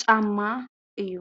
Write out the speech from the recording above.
ጫማ እዩ።